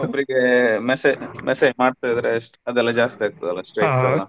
ಓಬ್ರಿಗೆ messa message message ಮಾಡ್ತಾ ಇದ್ರೆ ಅದೆಲ್ಲಾ ಜಾಸ್ತಿ ಆಗ್ತದೆ ಅಲ್ಲಾ .